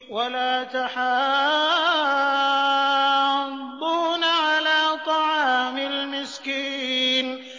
وَلَا تَحَاضُّونَ عَلَىٰ طَعَامِ الْمِسْكِينِ